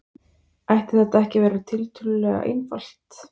Ætti þetta ekki að vera tiltölulega einfalt?